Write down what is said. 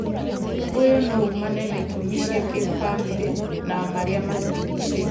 ũyũ no uumane na itũmi cia kĩbamĩrĩ na marĩa matũrigicĩirie